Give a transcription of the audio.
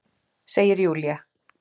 Segir Júlía.